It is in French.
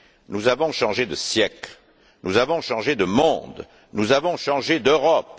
Nous avons changé de siècle, nous avons changé de monde, nous avons changé d'Europe.